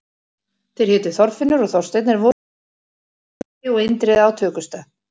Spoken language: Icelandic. Þeir hétu Þorfinnur og Þorsteinn en voru stundum kallaðir Urriði og Indriði á tökustað.